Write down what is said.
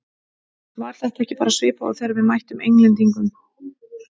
Var þetta ekki bara svipað og þegar við mættum Englendingunum?